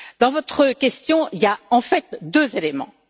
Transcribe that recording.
Dans votre question, il y a en fait deux éléments.